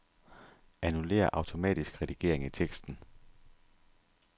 Annullér automatisk redigering i teksten.